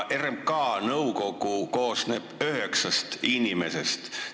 RMK nõukogu koosneb üheksast inimesest.